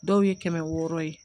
Dɔw ye kɛmɛ wɔɔrɔ ye